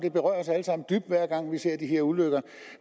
dybt hver gang vi ser de her ulykker